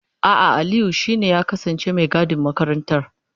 A'a, Aliyu dama shi ne ya kasance mai gadin makarantar.